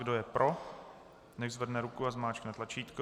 Kdo je pro, nechť zvedne ruku a zmáčkne tlačítko.